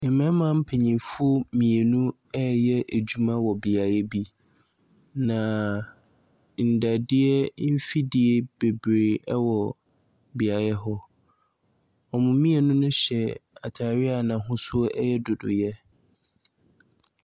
Mmarima mpanimfoɔ mmienu reyɛ adwuma wɔ beaeɛ bi, na nnadeɛ mfidie bebree wɔ beaeɛ hɔ. Wɔn mmienu no hyɛ atadeɛ a n'ahosuo no yɛ nnodoeɛ.